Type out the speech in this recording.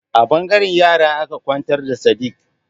A ɓangaren yara aka kwantar da Sadik.